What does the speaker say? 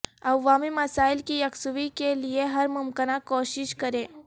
عوامی مسائل کی یکسوئی کیلئے ہر ممکنہ کوشش کریں